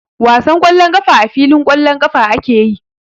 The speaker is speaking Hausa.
Wasan ƙwallon ƙafa a filin ƙwallon ƙafa ake yi.